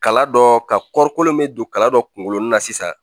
Kala dɔ ka kɔɔri kolon bɛ don kala dɔ kunkolo la sisan